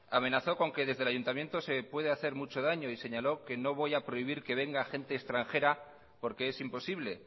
amenazó con que desde el ayuntamiento se puede hacer mucho daño y señaló que no voy a prohibir que venga gente extranjera porque es imposible